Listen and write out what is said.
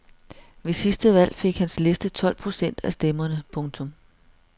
Ved sidste valg fik hans liste tolv procent af stemmerne. punktum